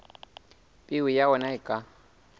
peo ya ona e ka